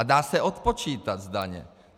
A dá se odpočítat z daně.